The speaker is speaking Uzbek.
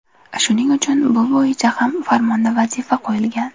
Shuning uchun bu bo‘yicha ham farmonda vazifa qo‘yilgan.